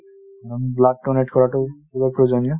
blood donate কৰাতো খুবেই প্ৰয়োজনীয় |